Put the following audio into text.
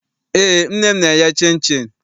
Eé, nne m na-eye chịnchịn.